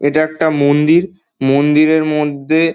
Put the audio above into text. এটা একটা মন্দির মন্দিরের মধ্যে--